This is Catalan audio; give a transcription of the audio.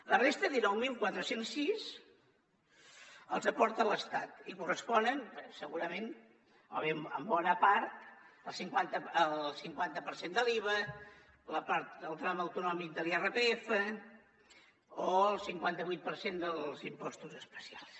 la resta dinou mil quatre cents i sis els aporta l’estat i corresponen segurament en bona part al cinquanta per cent de l’iva a la part del tram autonòmic de l’irpf o al cinquanta vuit per cent dels impostos especials